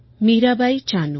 Mirabai Chanu